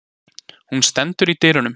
Hún stendur í dyrunum.